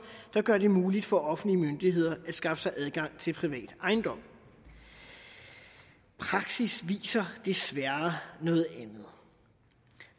der gør det muligt for offentlige myndigheder at skaffe sig adgang til privat ejendom praksis viser desværre noget andet